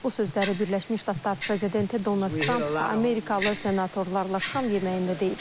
Bu sözləri Birləşmiş Ştatlar prezidenti Donald Tramp Amerikalı senatorlarla şam yeməyində deyib.